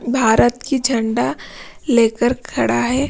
भारत की झंडा लेकर खड़ा है।